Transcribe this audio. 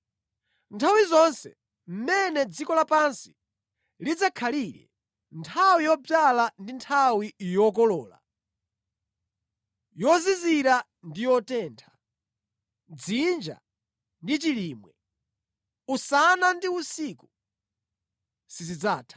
“Nthawi zonse mmene dziko lapansi lidzakhalire, nthawi yodzala ndi nthawi yokolola yozizira ndi yotentha, dzinja ndi chilimwe, usana ndi usiku, sizidzatha.”